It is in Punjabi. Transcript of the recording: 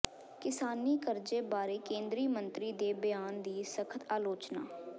ਕਿਸਾਨੀ ਕਰਜ਼ੇ ਬਾਰੇ ਕੇਂਦਰੀ ਮੰਤਰੀ ਦੇ ਬਿਆਨ ਦੀ ਸਖ਼ਤ ਆਲੋਚਨਾ